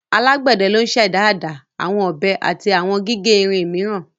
Alagbẹdẹ lo n ṣe ada, awọn ọbẹ ati awọn gige irin miiran